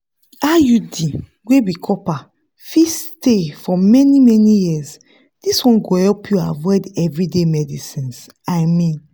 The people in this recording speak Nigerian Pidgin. iud wey be copper fit stay for many-many years this one go help you avoid everyday medicines i mean.